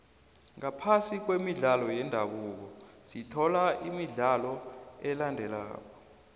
ngaphasi kwemidlalo yendabuko sithola imidlalo elandelako